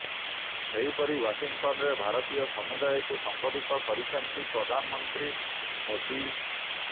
ସେହିପରି ୱାଶିଂଟନରେ ଭାରତୀୟ ସମୁଦାୟକୁ ସମ୍ବୋଧିତ କରିଛନ୍ତି ପ୍ରଧାନମନ୍ତ୍ରୀ ମୋଦି